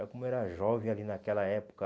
Eu como eu era jovem ali naquela época.